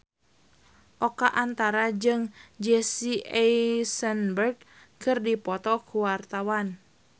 Oka Antara jeung Jesse Eisenberg keur dipoto ku wartawan